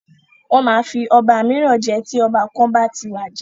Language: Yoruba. Wọ́n máa fi ọba míràn jẹ tí ọba kan bá ti wàjà.